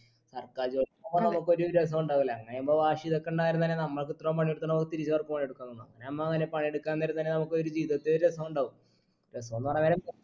സർക്കാർ ജോലി പറഞ്ഞാ നമ്മക്കൊരു രസുണ്ടാവില്ല അങ്ങനെ ചെയ്യുമ്പോ വാശി ഇതൊക്കെ ഉണ്ടായിരുന്നന്നെ നമ്മൾക്ക് ഇത്രോം പണി എടുത്തിണ്ടാവും തിരിച്ച് അവർക്ക് പണികൊടുക്കാൻ അങ്ങനെ നമ്മ അങ്ങനെ പണിയെടുക്കാൻ നേരം തന്നെ നമുക്കൊരു ജീവിതത്തെ രസുണ്ടാവു രാസോന്ന് പറയാൻ നേരം